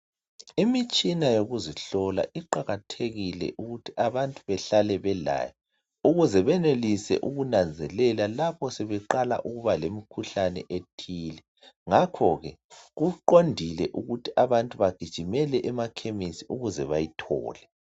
Imitshina yokuzihlola kuqakathekile ukuthi abantu behlale belayo ukuze benelise ukunanzelela lapho sebeqala ukubalomkhuhlane ethile ngakho ke kuqondile ukuthi abantu begijimele emakhemisi ukuze abantu beyithole